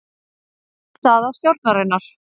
Erfið staða stjórnarinnar